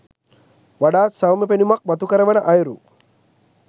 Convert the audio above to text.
වඩාත් සෞම්‍ය පෙනුමක් මතුකරවන අයුරු